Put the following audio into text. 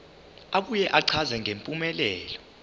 abuye achaze ngempumelelo